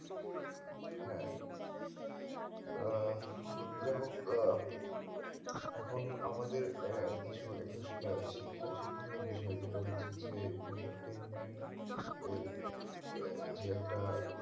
হ্যাঁ আহ দেখো আহ এখন আমাদের আহ কিছু একটু আহ শিক্ষা শিখিনীয় বিষয় যেটা হচ্ছে যে entertainment এর আহ যে একটা